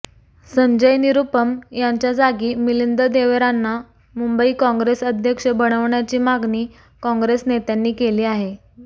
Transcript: संजय निरूपम यांच्या जागी मिलिंद देवेरांना मुंबई कॉंग्रेस अध्यक्ष बनवण्याची मागणी कॉंग्रेस नेत्यांनी केली आहे